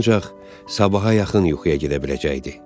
Ancaq sabaha yaxın yuxuya gedə biləcəkdi.